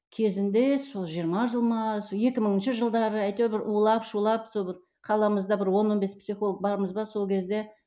кезінде сол жиырма жыл ма сол екі мыңыншы жылдары әйтеуір бір улап шулап сол бір қаламызда бір он он бес психолог бармыз ба сол кезде